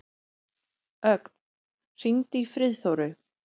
Ögn, hringdu í Friðþóru.